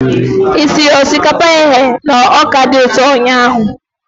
Ị siri osikapa eghe na ọka dị ụtọ ụnyahụ?